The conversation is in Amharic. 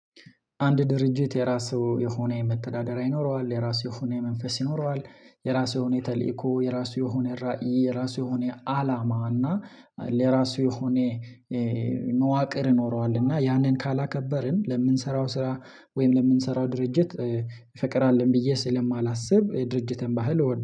አንድ ድርጅት የራሱ የሆነ የመተዳደሪያ ይኖረዋል የራሱ የሆነ የመንፈስ ይኖረዋል። የራሱ የሆነ ተልእኮ የራሱ የሆነ ራዕይ የራሱ የሆነ አላማ እና ለራሱ የሆነ መዋቅር ኖሯል ኖረዋል። እና ያንን ካላከበርን ለምንሰራው ስራ ወይም ለምንሰራው ድርጅት። ፍቅር አለን ብዬ ስለማላስብ ድርጅትን ባህል እወዳ